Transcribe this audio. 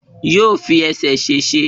Yóò fi ẹsẹ̀ ṣèṣe